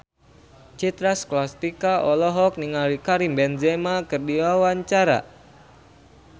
Citra Scholastika olohok ningali Karim Benzema keur diwawancara